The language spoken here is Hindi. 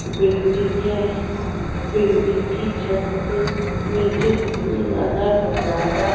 बिल्डिंग है बिल्डिंग की छत से नीचे दिखाने वाला नजारा --